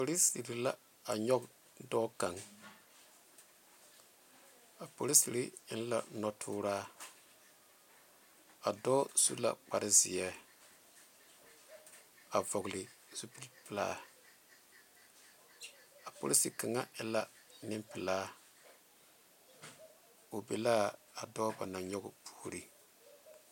Poliseere la a nyoŋ dɔɔ kaŋa a poliseere eŋ la noɔ tɔɔra a dɔɔ su la kpare ziɛ a vɔgle zupele pelaa a polise kaŋa e la Nenpelaa o be la a dɔɔ ba naŋ nyoŋ puori.